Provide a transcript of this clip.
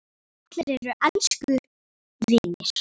Allir eru elsku vinir.